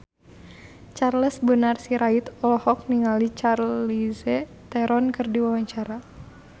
Charles Bonar Sirait olohok ningali Charlize Theron keur diwawancara